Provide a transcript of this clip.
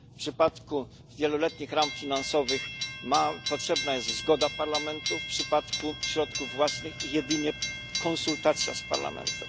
W przypadku wieloletnich ram finansowych potrzebna jest zgoda Parlamentu, a w przypadku środków własnych jedynie konsultacja z Parlamentem.